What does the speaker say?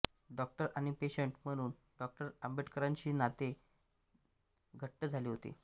doctor आणि patient म्हणून डॉ आंबेडकरांशी त्यांचे नाते घट्ट झाले होते